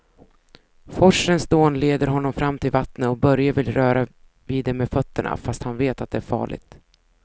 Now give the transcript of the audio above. Forsens dån leder honom fram till vattnet och Börje vill röra vid det med fötterna, fast han vet att det är farligt.